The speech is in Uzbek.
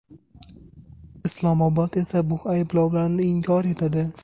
Islomobod esa bu ayblovlarni inkor etadi.